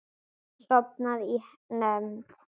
Sofnaði í nefnd.